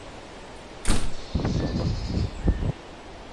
асаба